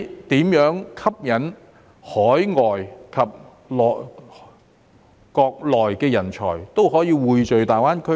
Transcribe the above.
如何吸引海外及國內的人才匯聚大灣區呢？